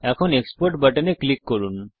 এখন export button এ click করুন